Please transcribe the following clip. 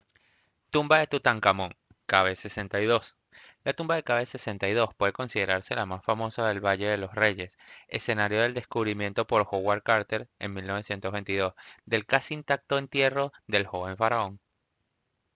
tumba de tutankamón kv62. la tumba kv62 puede considerarse la más famosa en el valle de los reyes escenario del descubrimiento por howard carter en 1922 del casi intacto entierro real del joven faraón